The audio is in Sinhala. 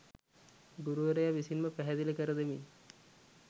ගුරුවරයා විසින්ම පැහැදිලි කර දෙමින්